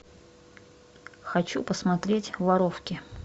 хочу посмотреть воровки